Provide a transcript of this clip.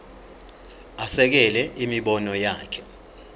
asekele imibono yakhe